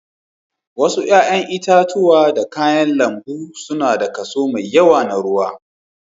Wasu 'ƴa'ƴan itatuwa da kayan lambu suna da kaso mai yawa na ruwa.